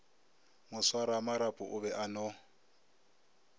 moswaramarapo o be a no